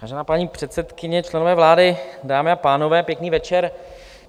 Vážená paní předsedkyně, členové vlády, dámy a pánové, pěkný večer.